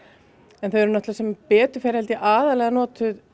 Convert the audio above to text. en þau eru sem betur fer aðallega notuð